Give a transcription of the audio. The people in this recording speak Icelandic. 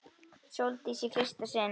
Sóldísi í fyrsta sinn.